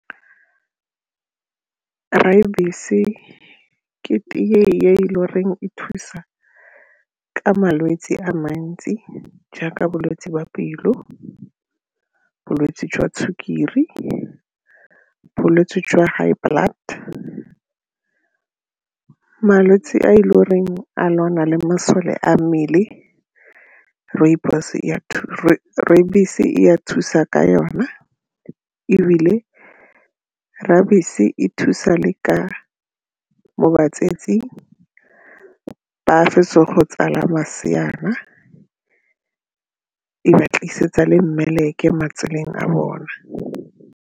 ke tee e e le goreng e thusa ka malwetse a mantsi jaaka bolwetse jwa pelo, bolwetse jwa sukiri, bolwetse jwa high blood malwetse a e le goreng a lwana le masole a mmele e a thusa ka yona ebile e thusa le ka mo batsetsing ba fetsa go tsala maseana, e ba tlisetsa le mmeleke matseleng a bone.